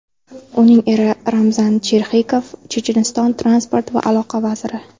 Uning eri Ramzan Cherxigov Checheniston transport va aloqa vaziri.